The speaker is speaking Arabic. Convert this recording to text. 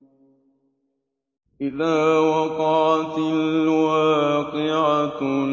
إِذَا وَقَعَتِ الْوَاقِعَةُ